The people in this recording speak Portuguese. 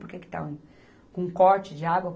Por que que está um, com um corte de água?